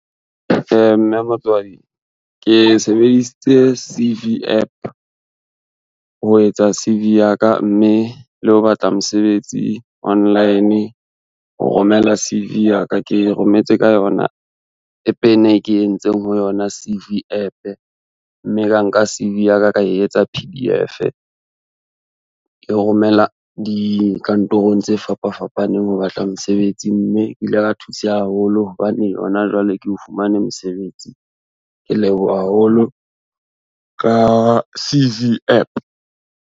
Mme motswadi ke sebedisitse C_V app ho etsa C_V ya ka, mme le ho batla mosebetsi online ho romela C_V ya ka, ke rometse ka yona app ena e ke entseng ho yona C_V app, mme ka nka C_V yaka, ka etsa P_D_F. Ke romela dikantorong tse fapa fapaneng ho batla mosebetsi, mme ke ile ka thuseha haholo hobane hona jwale ke o fumane mosebetsi. Ke leboha haholo ka C_V app.